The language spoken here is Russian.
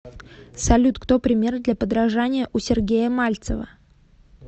салют кто пример для подражания у сергея мальцева